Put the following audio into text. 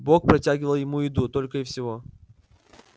бог протягивал ему еду только и всего